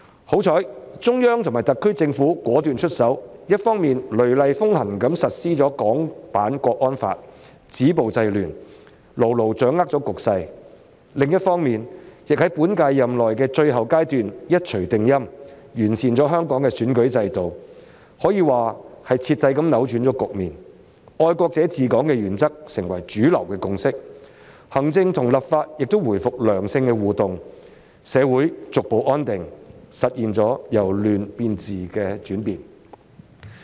幸好，中央及特區政府果斷出手，一方面雷厲風行實施《香港國安法》，止暴制亂，牢牢掌控了局勢。另一方面，亦在本屆任期的最後階段，一錘定音完善香港的選舉制度，可說是徹底扭轉局面，"愛國者治港"原則成為主流共識，行政與立法亦回復良性互動，社會逐步安定，實現了由亂變治的轉變。